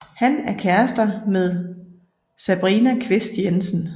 Han er kærester med Sabrina Kvist Jensen